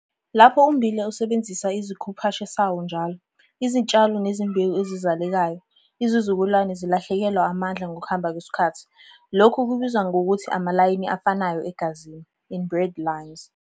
Lapho ummbila usebenzisa isikhuphashe sawo njalo, izitshalo nezimbewu ezizalekayo - izizukulwana zilahlekelwa amandla ngokuhamba kwesikhathi - lokhu kubizwa ngokuthi amalayini afanayo egazini, inbred lines.